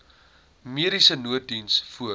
mediese nooddiens voor